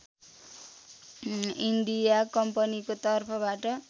India कम्पनीको तर्फबाट